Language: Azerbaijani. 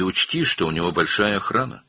Və nəzərə al ki, onun böyük mühafizəsi var.